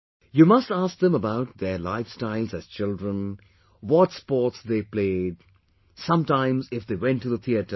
You must ask them about their lifestyle as children, what sports they played, sometimes if they went to the theatre